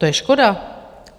- To je škoda.